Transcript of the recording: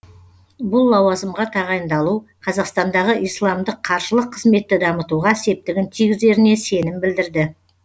бұл лауазымға тағайындалу қазақстандағы исламдық қаржылық қызметті дамытуға септігін тигізеріне сенім білдірді